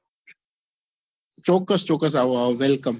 ચોક્કસ ચોક્કસ આવો આવો wellcome